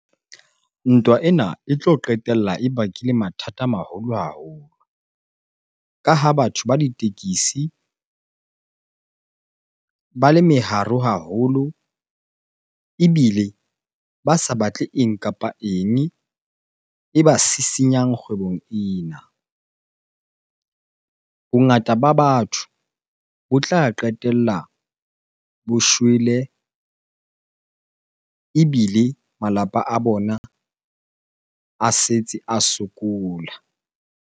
Ntwa ena e tlo qetella e bakile mathata a maholo haholo. Ka ha batho ba ditekisi ba le meharo haholo ebile ba sa batle eng kapa eng e ba sisinyang kgwebong ena. Bongata ba batho bo tla qetella bo shwele ebile malapa a bona a setse a sokola.